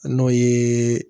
N'o ye